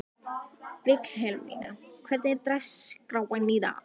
Vilhelmína, hvernig er dagskráin í dag?